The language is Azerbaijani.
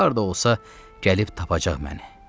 Harda olsa gəlib tapacaq məni.